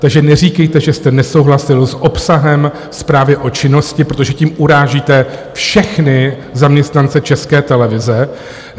Takže neříkejte, že jste nesouhlasil s obsahem zprávy o činnosti, protože tím urážíte všechny zaměstnance České televize.